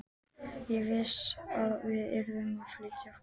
Ég vissi að við yrðum að flýta okkur.